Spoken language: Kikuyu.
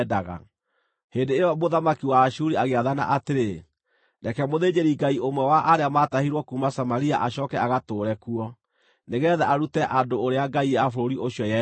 Hĩndĩ ĩyo mũthamaki wa Ashuri agĩathana atĩrĩ: “Reke mũthĩnjĩri-Ngai ũmwe wa arĩa maatahirwo kuuma Samaria acooke agatũũre kuo, nĩgeetha arute andũ ũrĩa ngai ya bũrũri ũcio yendaga.”